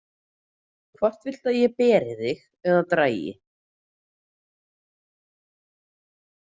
Hvort viltu að ég beri þig eða dragi?